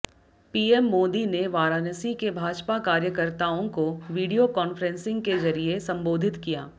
PM Modi ने वाराणसी के भाजपा कार्यकर्ताओं को वीडियो कॉन्फ्रेंसिंग के जरिए संबोधित किया